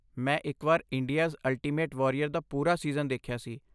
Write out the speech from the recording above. ਮੈਂ ਇਕ ਵਾਰ 'ਇੰਡੀਆਜ਼ ਅਲਟੀਮੇਟ ਵਾਰੀਅਰ' ਦਾ ਪੂਰਾ ਸੀਜ਼ਨ ਦੇਖਿਆ ਸੀ।